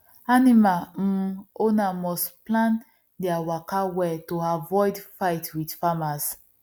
animal um owner must plan there waka well to avoid fight with farmers